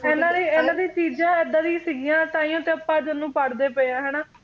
ਇਹਨਾਂ ਦੀਆਂ ਚੀਜਾਂ ਇਹਦਾ ਦੀ ਸੀਗੀਆਂ ਤਾਂਹੀਓਂ ਤੇ ਆਪਾ ਅੱਜ ਓਹਨੂੰ ਪੜ੍ਹਦੇ ਪਏ ਆ।